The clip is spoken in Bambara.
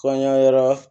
Kɔɲɔ yɛrɛ